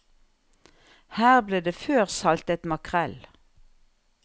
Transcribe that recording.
Her ble det før saltet makrell.